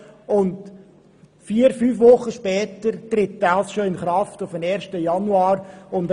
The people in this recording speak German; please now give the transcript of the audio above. Vier bis fünf Wochen später tritt er schon in Kraft, nämlich per 1. Januar 2018.